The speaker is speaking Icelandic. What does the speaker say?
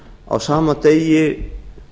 á sama degi